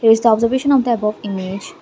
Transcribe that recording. is the observation of the above image--